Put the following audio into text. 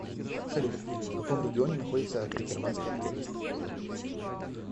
салют в каком регионе находится акерманская крепость